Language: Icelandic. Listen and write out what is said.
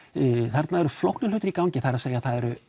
þarna eru flóknir hlutir í gangi það er